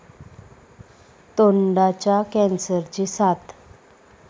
तोंडाच्या कॅन्सरची साथ